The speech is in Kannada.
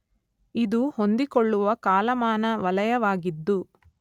ಇದು ಹೊಂದಿಕೊಳ್ಳುವ ಕಾಲಮಾನ ವಲಯವಾಗಿದ್ದು